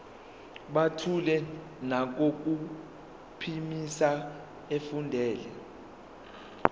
buthule nangokuphimisa efundela